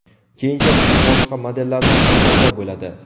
Keyinchalik u boshqa modellarda ham paydo bo‘ladi.